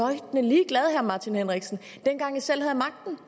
at martin henriksen dengang de selv havde magten